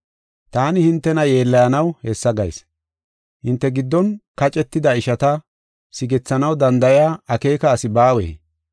Taani hintena yeellayanaw hessa gayis. Hinte giddon kacetida ishata sigethanaw danda7iya akeeka asi baawee?